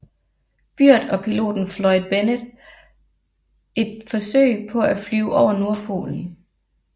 Byrd og piloten Floyd Bennett et forsøg på at flyve over nordpolen